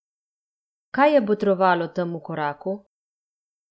Kaj je botrovalo temu koraku?